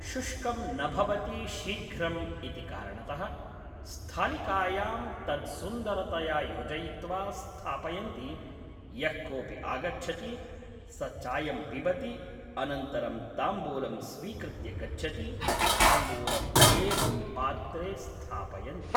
शुष्कं न भवति शीघ्रम् इति कारणतः स्थालिकायां तद् सुन्दरतया योजयित्वा स्थापयन्ति यः कोपि आगच्छति स चायं पिबति अनन्तरं ताम्बूलम् स्वीकृत्य गच्छति ताम्बुलम् एवं पात्रे स्थापयन्ति